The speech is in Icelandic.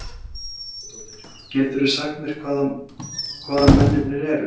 Ólöf Skaftadóttir: Geturðu sagt mér hvaðan mennirnir eru?